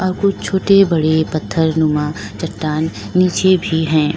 यहां कुछ छोटे बड़े पत्थर नुमा चट्टान नीचे भी हैं।